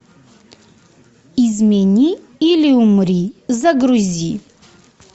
измени или умри загрузи